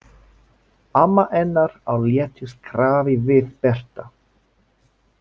Amma hennar á léttu skrafi við Berta.